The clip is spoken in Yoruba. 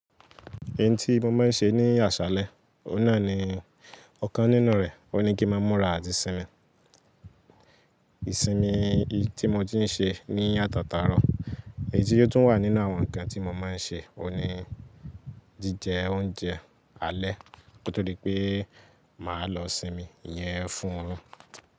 Ẹni tí mo máa ń ṣe ní àsálẹ́, ọ̀nà ni ọ̀kan nínú rẹ̀, ó ní kí má múra àti sinmi. Isinmi tí mo ti ń ṣe ní ata tarọ, èyí tí ó tún wà nínú àwọn nǹkan tí mo máa ń ṣe, òun ni jíjẹ oúnjẹ alẹ́ kotodi pé mà á lọ sinmi yẹn fún un.